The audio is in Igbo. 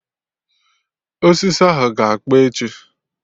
Osisi ahụ ga-akpọ echi